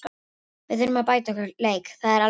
Við þurfum að bæta okkar leik, það er alveg klárt.